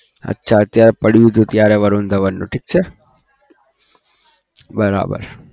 અચ્છા ત્યાં પડ્યું હતું ત્યારે વરુણ ઘવનનું ઠીક છે બરાબર.